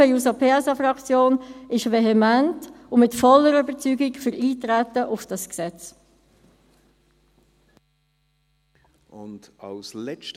Die SP-JUSO-PSA-Fraktion ist vehement und mit voller Überzeugung für Eintreten auf dieses Gesetz.